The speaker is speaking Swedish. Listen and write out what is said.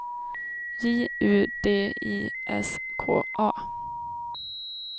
J U D I S K A